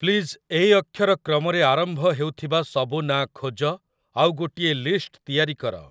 please 'A' ଅକ୍ଷର କ୍ରମରେ ଆରମ୍ଭ ହେଉଥିବା ସବୁ ନାଁ ଖୋଜ ଆଉ ଗୋଟିଏ ଲିଷ୍ଟ୍ ତିଆରି କର